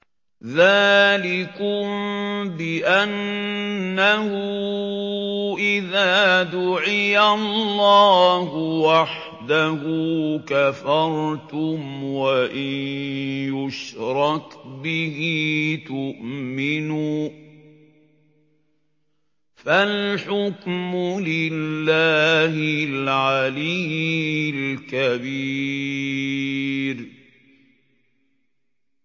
ذَٰلِكُم بِأَنَّهُ إِذَا دُعِيَ اللَّهُ وَحْدَهُ كَفَرْتُمْ ۖ وَإِن يُشْرَكْ بِهِ تُؤْمِنُوا ۚ فَالْحُكْمُ لِلَّهِ الْعَلِيِّ الْكَبِيرِ